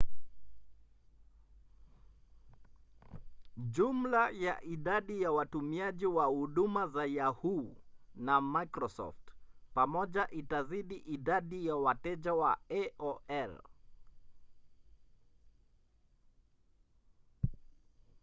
jumla ya idadi ya watumiaji wa huduma za yahoo! na microsoft pamoja itazidi idadi ya wateja wa aol